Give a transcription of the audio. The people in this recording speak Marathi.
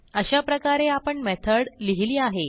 अशाप्रकारे आपण मेथड लिहिली आहे